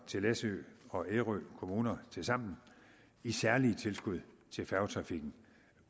til læsø og ærø kommuner tilsammen i særlige tilskud til færgetrafikken